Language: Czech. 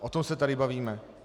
O tom se tady bavíme.